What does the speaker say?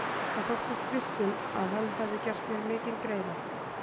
Hann þóttist viss um, að hann hefði gert mér mikinn greiða.